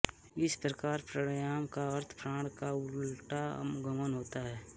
इस प्रकार प्राणायाम का अर्थ प्राण का उलटा गमन होता है